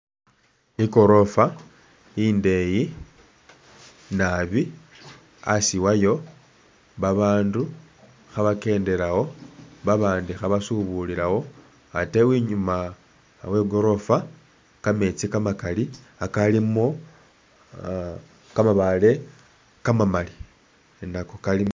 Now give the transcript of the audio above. Ikorofa indeyi nabi asi wayo babaandu khabakendelawo baandi kheba subulilawo ate inyuma we'gorofa kameetsi kamakali kakalimo kamabale kamamali nako kalimo .